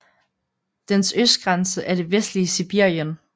Dens østgrænse er det vestlige Sibirien